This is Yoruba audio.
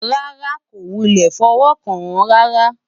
rárá, kò wulẹ̀ fọwọ́ kàn án rárá